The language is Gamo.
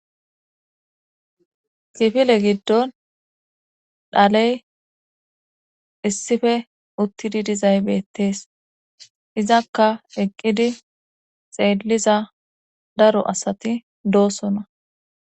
kifile giddon dhaley issife uttidi dizaybeettees izakka eqqidi xeelliza daro asati doosona